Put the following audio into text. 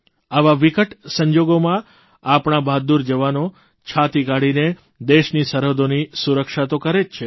આવા વિકટ સંજોગોમાં આપણા બહાદુર જવાનો છાતી કાઢીને દેશની સરહદોની સુરક્ષા તો કરે જ છે